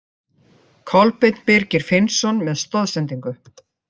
Kolbeinn Birgir Finnsson með stoðsendingu.